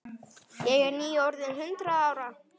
Ég er nýorðin hundrað ára.